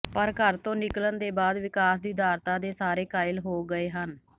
ਪਰ ਘਰ ਤੋਂ ਨਿਕਲਣ ਦੇ ਬਾਅਦ ਵਿਕਾਸ ਦੀ ਉਦਾਰਤਾ ਦੇ ਸਾਰੇ ਕਾਇਲ ਹੋ ਗਏ ਹਨ